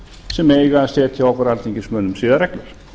sem eiga að setja okkur alþingismönnum siðareglur